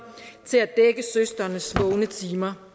til at dække søsterens vågne timer